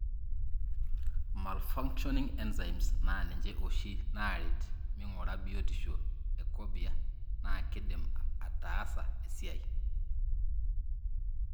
Malfunctioning enzymes na ninye oshi naret mingura biotisho e corbea na kindim ataasa esiai.